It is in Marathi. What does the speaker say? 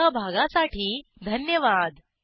सहभागासाठी धन्यवाद